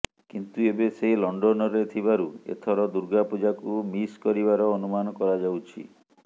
କିନ୍ତୁ ଏବେ ସେ ଲଣ୍ଡନରେ ଥିବାରୁ ଏଥର ଦୂର୍ଗାପୂଜାକୁ ମିସ କରିବାର ଅନୁମାନ କରାଯାଉଛି